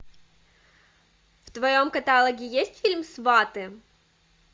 в твоем каталоге есть фильм сваты